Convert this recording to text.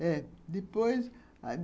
É, depois